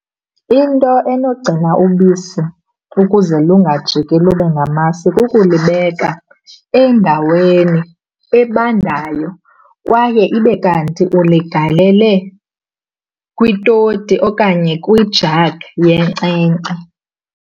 Into enogcina ubisi ukuze lungajiki lube ngamasi kukulibeka endaweni ebandayo kwaye ibe kanti uligalele kwitoti okanye kwi-jug yenkcenkce.